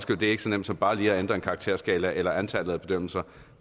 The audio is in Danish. det er ikke så nemt som bare lige at ændre en karakterskala eller antallet af bedømmelser